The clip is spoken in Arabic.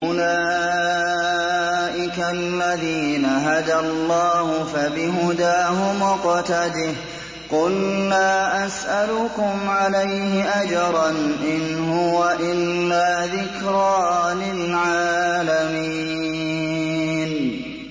أُولَٰئِكَ الَّذِينَ هَدَى اللَّهُ ۖ فَبِهُدَاهُمُ اقْتَدِهْ ۗ قُل لَّا أَسْأَلُكُمْ عَلَيْهِ أَجْرًا ۖ إِنْ هُوَ إِلَّا ذِكْرَىٰ لِلْعَالَمِينَ